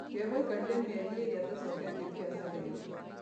Kevo aikarire mĩeri ĩrĩ atacoketie biacara ĩyo